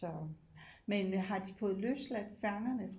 Så men har de fået løsladt fangerne